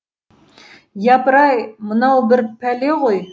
япырай мынау бір пәле ғой